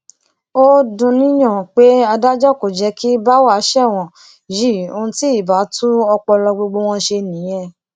ó dùnúnyàn pé adájọ kò jẹ kí báwa ṣẹwọn yìí ohun tí ibà tún ọpọlọ gbogbo wọn ṣe nìyẹn